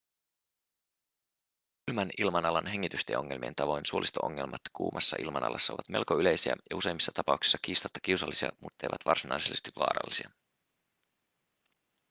kylmän ilmanalan hengitystieongelmien tavoin suolisto-ongelmat kuumassa ilmanalassa ovat melko yleisiä ja useimmissa tapauksissa kiistatta kiusallisia mutteivät varsinaisesti vaarallisia